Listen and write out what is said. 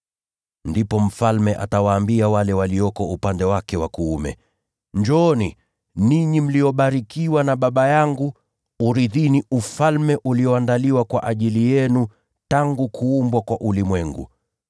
“Ndipo Mfalme atawaambia wale walioko upande wake wa kuume, ‘Njooni, ninyi mliobarikiwa na Baba yangu; urithini Ufalme ulioandaliwa kwa ajili yenu tangu kuumbwa kwa ulimwengu.